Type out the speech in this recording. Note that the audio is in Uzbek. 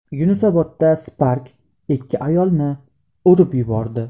Yunusobodda Spark ikki ayolni urib yubordi.